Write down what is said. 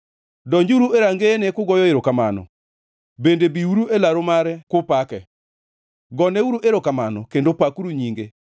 Donjuru e rangeyene kugoyo erokamano bende biuru e laru mare kupake. Goneuru erokamano kendo pakuru nyinge.